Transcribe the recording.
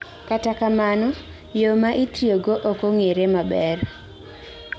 kata kamano, yoo ma itiyogo okong'ere maber